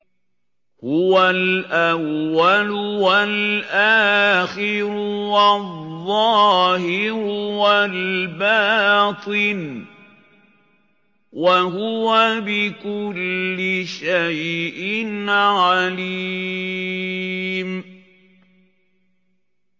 هُوَ الْأَوَّلُ وَالْآخِرُ وَالظَّاهِرُ وَالْبَاطِنُ ۖ وَهُوَ بِكُلِّ شَيْءٍ عَلِيمٌ